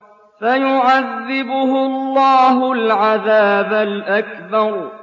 فَيُعَذِّبُهُ اللَّهُ الْعَذَابَ الْأَكْبَرَ